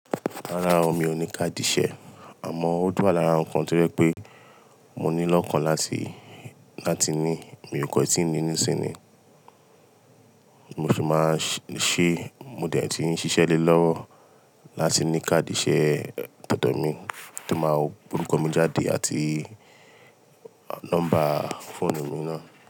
Rárá o, mi ò ní káàdì iṣẹ́. Àmọ́, ó tun wa lára ǹkan to jẹ pé mo ní lọ́kan láti, láti ní. Mi ò kan tí ń ní nísìnyí. Mo sì máa ń ṣe, mo dẹ̀ ti ń ṣiṣẹ́ lé lọ́wọ́ láti ní káàdì iṣẹ́ to do mi, tó máa wo orúkọ mi jáde àti nọ́mbà fóònù mi náà.